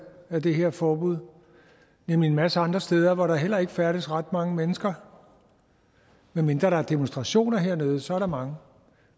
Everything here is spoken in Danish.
af det her forbud nemlig en masse andre steder hvor der heller ikke færdes ret mange mennesker med mindre der er demonstrationer hernede så er der mange